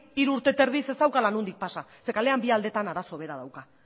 hiru urte terdiz ez daukala nondik pasa zeren eta kalean bi aldeetan arazo bera dauka